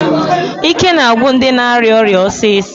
Ike na-agwụ ndị na-arịa ọrịa ọsịsọ.